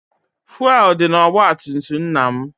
Fụelụ dị n'ọgbatumtum nna m